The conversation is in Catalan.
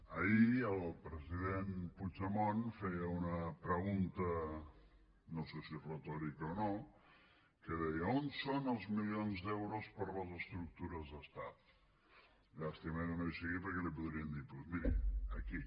ahir el president puigdemont feia una pregunta no sé si retòrica o no que deia on són els milions d’euros per a les estructures d’estat llàstima que no hi sigui perquè li podríem dir doncs miri aquí